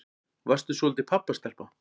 Varstu svolítil pabbastelpa?